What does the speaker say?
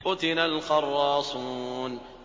قُتِلَ الْخَرَّاصُونَ